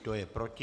Kdo je proti?